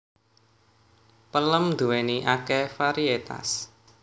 Pelem nduwéni akeh variétas